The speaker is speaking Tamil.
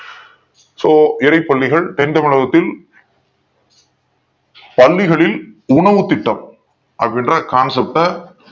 So இறை பள்ளிகள் தென் தமிழகத்தில் பள்ளிகளில் உணவு திட்டம் அப்படிங்கற concept